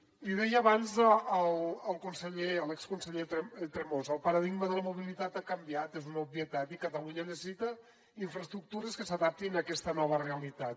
l’hi deia abans a l’exconseller tremosa el paradigma de la mobilitat ha canviat és una obvietat i catalunya necessita infraestructures que s’adaptin a aquesta nova realitat